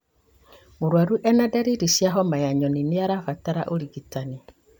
Mũrwaru ena ndariri cia homa ya nyoni na nĩarabatara urigitani